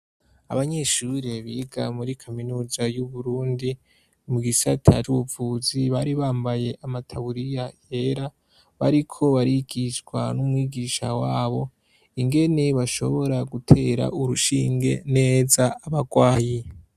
Abanyeshure biga muri kaminuza y'Uburundi mu gisata c'ubuvuzi bari bambaye amataburiya yera bariko barigishwa n'umwigisha wabo ingene bashobora gutera urushinge neza abagwayi.